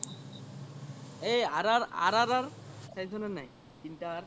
এই R R R R R চাইছ নে নাই তিনটা R